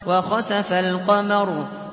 وَخَسَفَ الْقَمَرُ